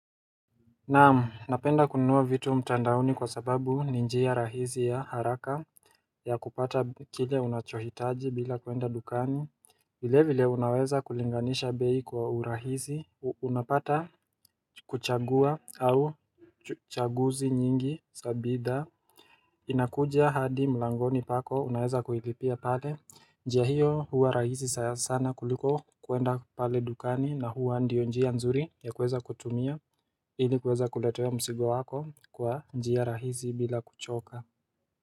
Naam, napenda kununua vitu mtandaoni kwa sababu ni njia rahisi ya haraka ya kupata chile unachohitaji bila kuenda dukani vile vile unaweza kulinganisha bei kwa urahisi. Unapata kuchagua au chaguzi nyingi sabida inakuja hadi mlangoni pako, unaweza kuilipia pale. Njia hiyo huwa rahisi saya sana kuliko kuenda pale dukani na huwa ndio njia nzuri ya kuweza kutumia ili kuweza kuletewa msigo wako kwa njia rahisi bila kuchoka.